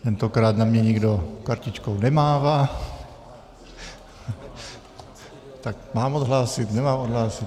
Tentokrát na mě nikdo kartičkou nemává... tak mám odhlásit, nemám odhlásit?